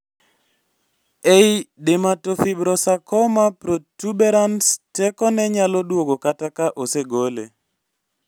ei dermatofibrosarcoma protuberans teko ne nyalo duogo kata ka osegole